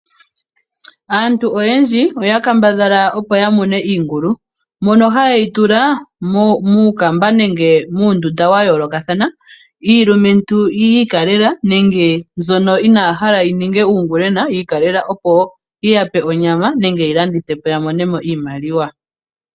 Aantu oyendji oya kambadhala opo ya mune iingulu mono ha yeyi tula muukamba nenge muundunda wa yoolokathana iilumentu yi ikalela nenge mbyono inaya hala yi ninge uungulwena yi ikalela opo yi yape onyama nenge yeyi landithe po yamone mo iimaliwa.